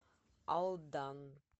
алдан